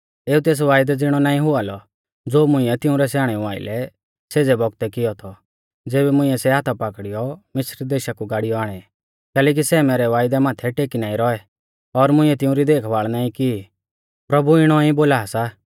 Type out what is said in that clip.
एऊ तेस वायदै ज़िणौ नाईं हुआ लौ ज़ो मुंइऐ तिंउरै स्याणेऊ आइलै सेज़ै बौगतै कियौ थौ ज़ेबी मुंइऐ सै हाथा पाकड़ीयौ मिस्र देशा कु गाड़ियौ आणै कैलैकि सै मैरै वायदा माथै टेकी नाईं रौऐ और मुंइऐ तिउंरी देखभाल़ नाईं की प्रभु इणौ ई बोला सा